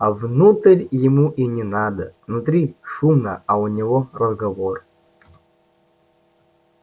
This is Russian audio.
а внутрь ему и не надо внутри шумно а у него разговор